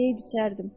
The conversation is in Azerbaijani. Deyib içərdim.